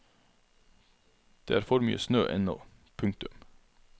Det er for mye snø ennå. punktum